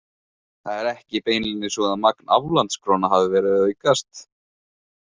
Það er ekki beinlínis svo að magn aflandskróna hafi verið að aukast.